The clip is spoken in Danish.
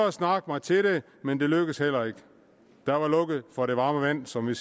at snakke mig til det men det lykkedes heller ikke der var lukket for det varme vand som vi